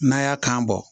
N'a y'a kan bɔ